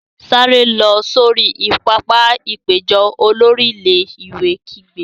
Sáré lọ sori pápá-ìpéjọ! Olórí ilé-ìwé kígbe.